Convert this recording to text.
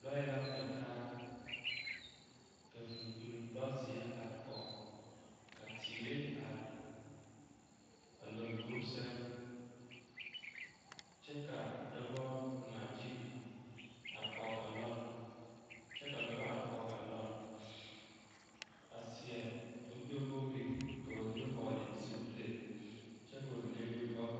Lɔɛ la ŋmɛ taa ka vūūkpini lɔzeɛ are kɔge ka teere are a lombori sɛŋ kyɛ ka dɔbɔ ŋmaa gyili are kɔge a lɔɔre kyɛ ka dɔbɔ are kɔge a lɔɔre a seɛ kurigbɛwogri ka ba mine seɛ zupile kyɛ ka ba mine meŋ ba vɔgle.